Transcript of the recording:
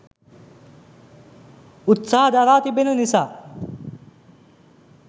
උත්සහ දරා තිබෙන නිසා.